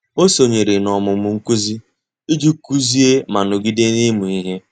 Ọ́ sònyèrè n’ọ́mụ́mụ́ nkuzi iji kụ́zị́é ma nọ́gídé n’ị́mụ́ ihe.